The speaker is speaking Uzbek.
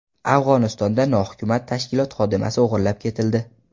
Afg‘onistonda nohukumat tashkilot xodimasi o‘g‘irlab ketildi.